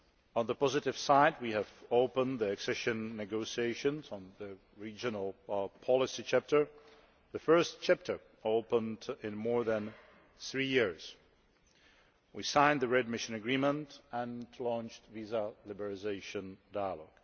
On the positive side, we have opened the accession negotiations on the regional policy chapter the first chapter opened in more than three years. We have signed the readmission agreement and launched the visa liberalisation dialogue.